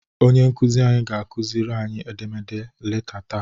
Onye nkuzi anyị ga-akuziri anyị edemede leta taa.